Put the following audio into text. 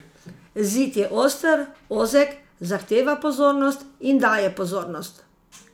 Zid je oster, ozek, zahteva pozornost in daje pozornost.